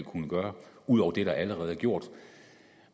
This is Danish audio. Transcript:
kunne gøre ud over det der allerede er gjort